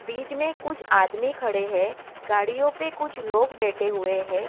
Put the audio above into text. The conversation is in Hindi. बीच में कुछ आदमी खड़े है गाड़ियों पे कुछ लोग बैठे हुए है।